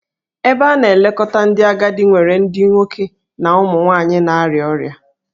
Ebe a na-elekọta ndị agadi nwere ndị nwoke na ụmụ nwanyị na-arịa ọrịa